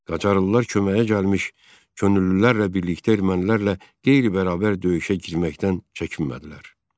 Qacarlılar köməyə gəlmiş könüllülərlə birlikdə ermənilərlə qeyri-bərabər döyüşə girməkdən çəkinmədilər.